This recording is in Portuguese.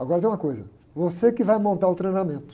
Agora tem uma coisa, você que vai montar o treinamento.